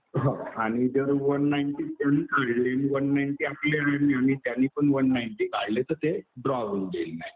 हो. आणि जर वन नाईंटी त्यांनी काढले आणि वन नाईंटी आपले आहे आणि त्यांनी पण वन नाईंटी काढले तर ते ड्रॉ होऊन जाईल मॅच.